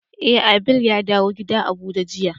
Eh, Abel ya dawn gida a buje jiya.